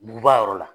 Buguba yɔrɔ la